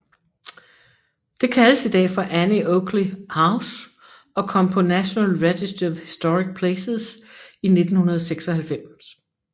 Det kaldes i dag for Annie Oakley House og kom på National Register of Historic Places i 1996